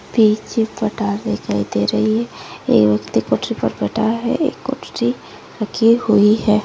रखी हुई है।